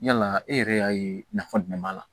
Yala e yɛrɛ y'a ye nafa jumɛn b'a la